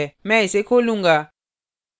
मैं इसे खोलूँगा